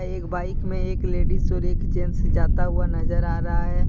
एक बाइक में एक लेडीज और एक जेंट्स जाता हुआ नजर आ रहा है।